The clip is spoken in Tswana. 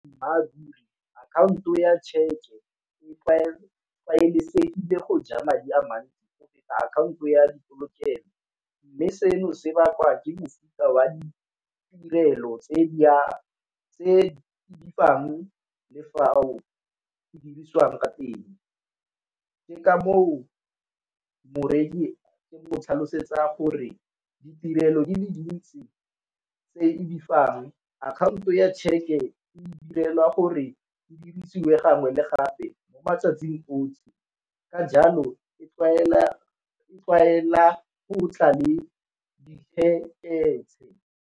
akhaonto ya tšheke e tlwaelesegile go ja madi a mantsi go feta akhaonto ya polokelo, mme seno se bakwa ke mofuta wa ditirelo tse di fang le fao dirisiwang ka teng. Ke ka moo moreki ke mo tlhalosetsa gore ditirelo di le dintsi tse ke di fang akhaonto ya tšheke e direlwa gore di dirisiwe gangwe le gape mo matsatsing otlhe, ka jalo e tlwaela go tla le .